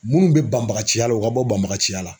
Minnu bɛ banbaganciya la u ka bɔ banbaganciya la